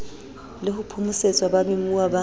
le ho phomosetsa bamemuwa ba